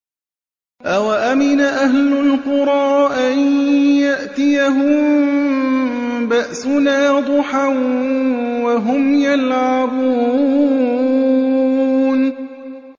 أَوَأَمِنَ أَهْلُ الْقُرَىٰ أَن يَأْتِيَهُم بَأْسُنَا ضُحًى وَهُمْ يَلْعَبُونَ